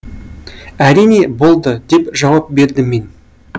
әрине болды деп жауап бердім мен